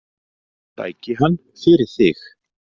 Sæki hann fyrir þig.